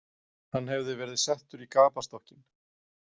Hann hefði verið settur í gapastokkinn.